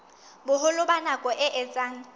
boholo ba nako e etsang